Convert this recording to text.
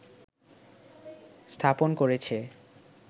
স্থাপন করেছে